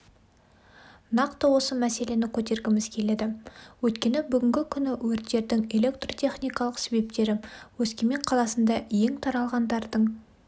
нақты осы мәселені көтергіміз келеді өйткені бүгінгі күні өрттердің электртехникалық себептері өскемен қаласында ең таралғандардың